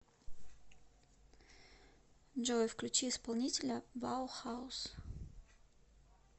джой включи исполнителя баухаус